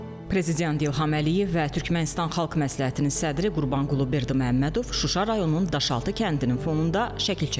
Prezident İlham Əliyev və Türkmənistan Xalq məsləhətinin sədri Qurbanqulu Berdiməmmədov Şuşa rayonunun Daşaltı kəndinin fonunda şəkil çəkdiriblər.